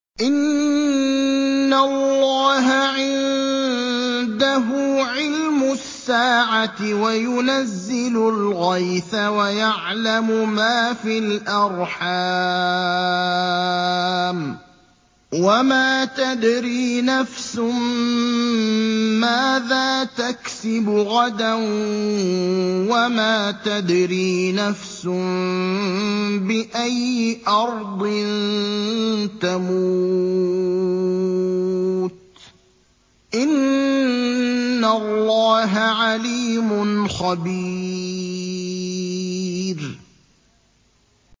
إِنَّ اللَّهَ عِندَهُ عِلْمُ السَّاعَةِ وَيُنَزِّلُ الْغَيْثَ وَيَعْلَمُ مَا فِي الْأَرْحَامِ ۖ وَمَا تَدْرِي نَفْسٌ مَّاذَا تَكْسِبُ غَدًا ۖ وَمَا تَدْرِي نَفْسٌ بِأَيِّ أَرْضٍ تَمُوتُ ۚ إِنَّ اللَّهَ عَلِيمٌ خَبِيرٌ